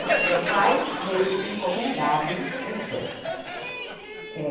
Bom, meu pai veio encomendado da Espanha, é